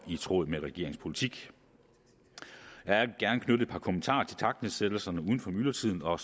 i tråd med regeringens politik jeg vil gerne knytte et par kommentarer til takstnedsættelserne uden for myldretiden og